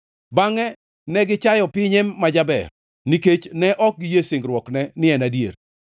Bangʼe ne gichayo pinye ma jaber; nikech ne ok giyie singruokne ni en adier.